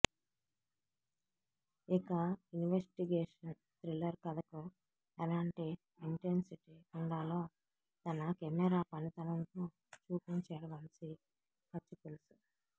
ఒక investigation thriller కథకు ఎలాంటి ఇంటెన్సిటీ ఉండాలో తన కెమెరా పనితనంతో చూపించాడు వంశీ పచ్చిపులుసు